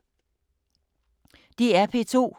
DR P2